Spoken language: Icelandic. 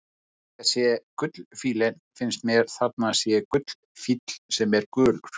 Þegar ég sé gullfífillinn finnst mér að þarna sé gullfífill sem er gulur.